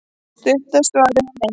stutta svarið er nei